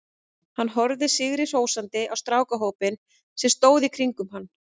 Hann horfði sigri hrósandi á strákahópinn sem stóð í kringum hann.